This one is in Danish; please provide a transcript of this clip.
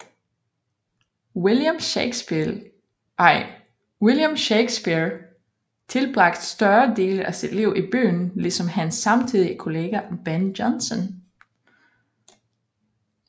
William Shakespeare tilbragte store dele af sit liv i byen ligesom hans samtidige kollega Ben Jonson